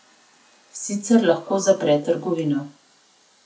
Sicer lahko zapre trgovino.